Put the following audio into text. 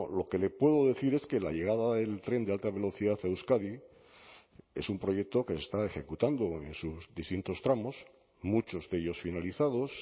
lo que le puedo decir es que la llegada del tren de alta velocidad a euskadi es un proyecto que se está ejecutando en sus distintos tramos muchos de ellos finalizados